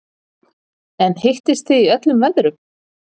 En hittist þið í öllum veðrum?